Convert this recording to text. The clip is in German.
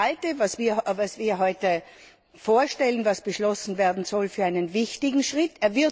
Ich halte das, was wir heute vorstellen und was beschlossen werden soll, für einen wichtigen Schritt.